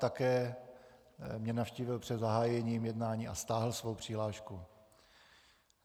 Také mě navštívil před zahájením jednání a stáhl svoji přihlášku.